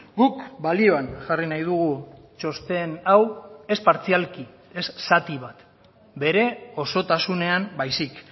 guk balioan jarri nahi dugu txosten hau ez partzialki ez zati bat bere osotasunean baizik